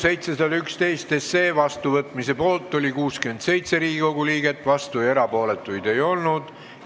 Hääletustulemused Eelnõu 711 seadusena vastuvõtmise poolt oli 67 Riigikogu liiget, vastuolijaid ega erapooletuid ei olnud.